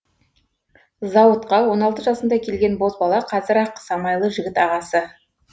зауытқа он алты жасында келген бозбала қазір ақ самайлы жігіт ағасы